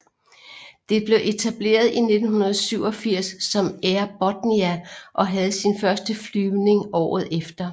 Det blev etableret i 1987 som Air Botnia og havde sin første flyvning året efter